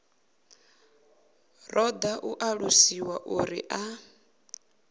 ṱoḓa u ṱalusiwa uri a